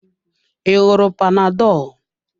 I ṅụrụ panadolu.